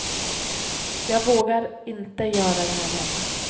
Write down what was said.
Jag vågar inte göra det här hemma.